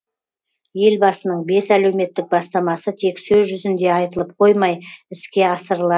елбасының бес әлеуметтік бастамасы тек сөз жүзінде айтылып қоймай іске асырыла